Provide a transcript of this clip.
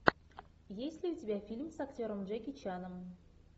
есть ли у тебя фильм с актером джеки чаном